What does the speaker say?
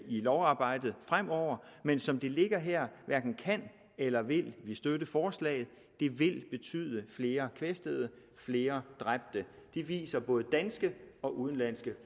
lovarbejdet fremover men som det ligger her hverken kan eller vil vi støtte forslaget det vil betyde flere kvæstede flere dræbte det viser både danske og udenlandske